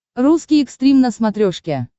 русский экстрим на смотрешке